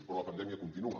però la pandèmia continua